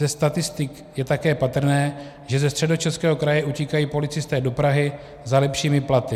Ze statistik je také patrné, že ze Středočeského kraje utíkají policisté do Prahy za lepšími platy.